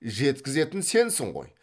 жеткізетін сенсін ғой